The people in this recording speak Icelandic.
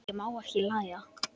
Ég má ekki hlæja.